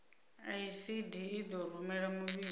icd i ḓo rumela muvhigo